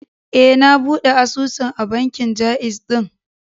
E, na buɗe asusun a bankin Ja'iz ɗin.